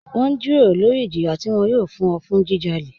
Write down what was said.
Wọn n jírọ̀rọ̀ lórí ìjìyà tí wọn yòò fún ọ̀ fún jíjálẹ̀.